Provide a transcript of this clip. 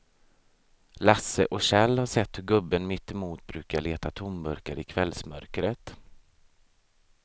Lasse och Kjell har sett hur gubben mittemot brukar leta tomburkar i kvällsmörkret.